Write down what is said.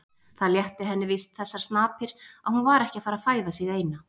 Það létti henni víst þessar snapir að hún var ekki að fæða sig eina.